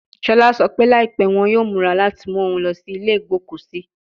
Shola sọ pe laipẹ wọn yoo mura lati mu oun lọ si ile igboku si